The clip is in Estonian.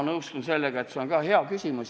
Ma nõustun sellega, et see on ka hea küsimus.